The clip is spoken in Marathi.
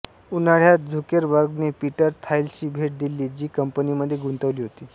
उन्हाळ्यात झुकेरबर्गने पीटर थाईलशी भेट दिली जी कंपनीमध्ये गुंतविली होती